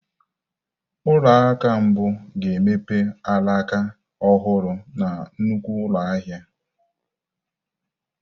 Ụlọ akụ mbụ ga-emepe alaka ọhụrụ na nnukwu ụlọ ahịa.